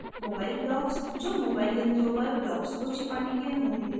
mobile blocksजो mobile यंत्रों पर blocks को छिपाने की अनुमति देता है